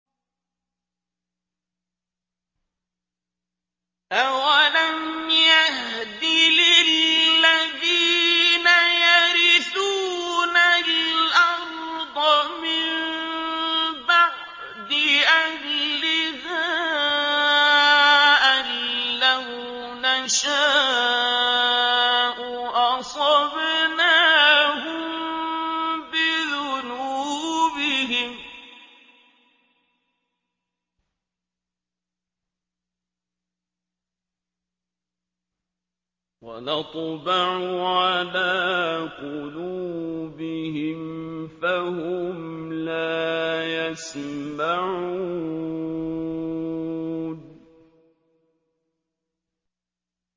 أَوَلَمْ يَهْدِ لِلَّذِينَ يَرِثُونَ الْأَرْضَ مِن بَعْدِ أَهْلِهَا أَن لَّوْ نَشَاءُ أَصَبْنَاهُم بِذُنُوبِهِمْ ۚ وَنَطْبَعُ عَلَىٰ قُلُوبِهِمْ فَهُمْ لَا يَسْمَعُونَ